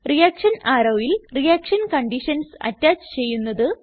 reaction arrowയിൽ reaction conditions attach ചെയ്യുന്നത്